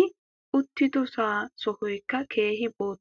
i uttidoso sohoykka keehi bootta.